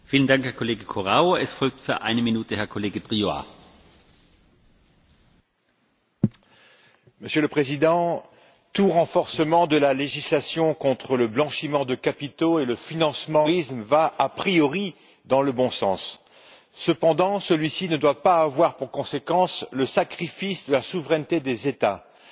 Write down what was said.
Monsieur le Président, tout renforcement de la législation contre le blanchiment de capitaux et le financement du terrorisme va, a priori, dans le bon sens. Cependant, un tel renforcement ne doit pas avoir pour conséquence le sacrifice de la souveraineté des États car ce sont les États membres qui sont les mieux placés pour lutter efficacement contre ces réseaux mafieux.